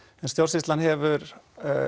en stjórnsýslan hefur